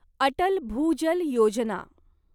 Atal Bhujal Yojana